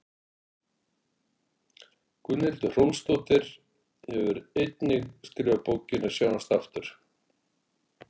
Gunnhildur Hrólfsdóttir hefur einnig skrifað bókina Sjáumst aftur.